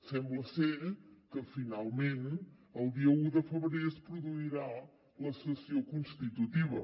sembla que finalment el dia un de febrer es produirà la sessió constitutiva